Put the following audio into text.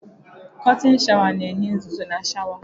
Kọrtịn sháwà na-enye nzụzọ na sháwà.